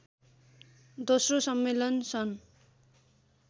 दोस्रो सम्मेलन सन्